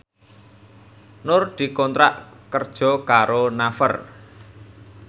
Nur dikontrak kerja karo Naver